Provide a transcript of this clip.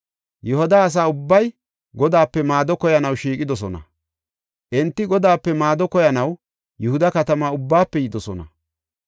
Yihuda asa ubbay Godaape maado koyanaw shiiqidosona; enti Godaape maado koyanaw Yihuda katama ubbaafe yidosona.